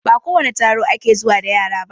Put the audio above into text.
Ba kowane taro ake zuwa da yara ba